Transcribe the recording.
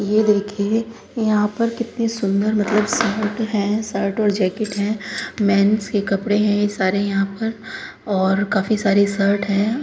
यह देखिये यहाँं पे कितनी सुन्दर मतलब शर्ट है। शर्ट और जैकेट हैं। मेन्श के कपड़े हैं सारे यहाँं पर और काफी सारी शर्ट है।